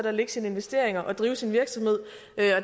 at lægge sine investeringer og drive sin virksomhed